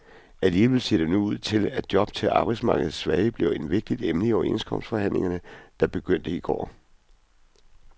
Alligevel ser det nu ud til, at job til arbejdsmarkedets svage bliver et vigtigt emne i overenskomstforhandlingerne, der begyndte i går.